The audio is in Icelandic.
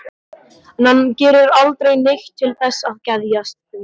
En hann gerir aldrei neitt til þess að geðjast því.